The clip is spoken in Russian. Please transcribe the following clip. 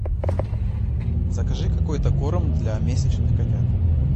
закажи какой то корм для месячных котят